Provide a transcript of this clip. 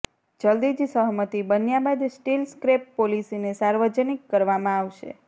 જલ્દી જ સહમતિ બન્યા બાદ સ્ટીલ સ્ક્રેપ પોલિસીને સાર્વજનિક કરવામાં આવશે